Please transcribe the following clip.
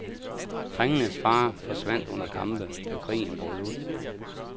Drengenes fader forsvandt under kampe, da krigen brød ud.